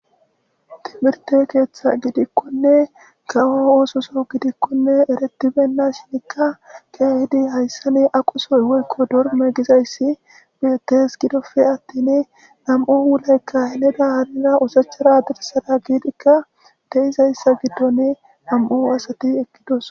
timirte keeththa gidikkonne kawo oososo gidikkonne eretibenna shinikka keehidi hayssane aqusoy woykko dorme gizayssi biyettes gidofe attin nam7u hwuleykka heneda hanira usachara dirsada giidikka deizayssa giddoni nam7u asati ekkidos